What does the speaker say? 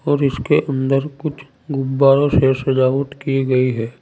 और इसके अंदर कुछ गुब्बारों से सजावट की गई है।